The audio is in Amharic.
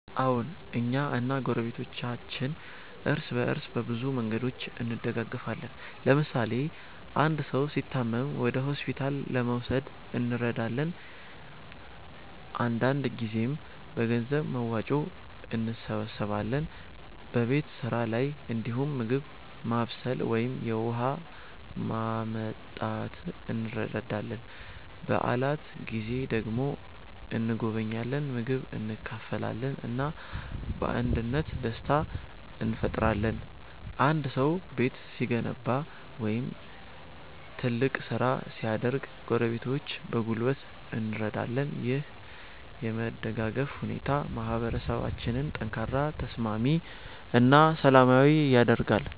አዎን፣ እኛ እና ጎረቤቶቻችን እርስ በእርስ በብዙ መንገዶች እንደጋገፋለን። ለምሳሌ አንድ ሰው ሲታመም ወደ ሆስፒታል ለመውሰድ እንረዳለን፣ አንዳንድ ጊዜም በገንዘብ መዋጮ እንሰብስባለን። በቤት ስራ ላይ እንዲሁም ምግብ ማብሰል ወይም የውሃ ማመጣት እንረዳዳለን። በዓላት ጊዜ ደግሞ እንጎበኛለን፣ ምግብ እንካፈላለን እና በአንድነት ደስታ እንፈጥራለን። አንድ ሰው ቤት ሲገነባ ወይም ትልቅ ስራ ሲያደርግ ጎረቤቶች በጉልበት እንረዳለን። ይህ የመደጋገፍ ሁኔታ ማህበረሰባችንን ጠንካራ፣ ተስማሚ እና ሰላማዊ ያደርጋል።